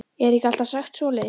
Er ekki alltaf sagt svoleiðis?